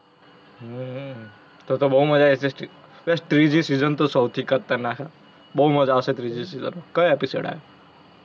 હમ તો તો બહુ મજા આવશે. ત્રિજી season તો સૌથી ખતરનાક હેં. બહુ મજા આવશે ત્રિજી season માં. ક્યો episode આયો?